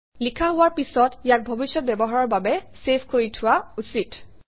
লিখা হোৱাৰ পিছত ইয়াক ভৱিষ্যৎ ব্যৱহাৰৰ বাবে চেভ কৰি থোৱা উচিত